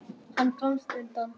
Hann komst undan.